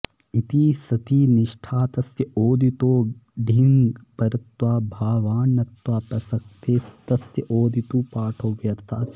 इटि सति निष्ठातस्य ओदितो डीङः परत्वाऽभावान्नत्वाऽप्रसक्तेस्तस्य ओदित्सु पाठो व्यर्थः स्यादित्यर्थः